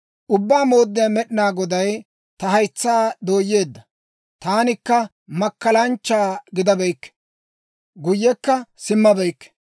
Ubbaa Mooddiyaa Med'inaa Goday ta haytsaa dooyeedda; taanikka makkalanchcha gidabeykke; guyyekka simmabeykke.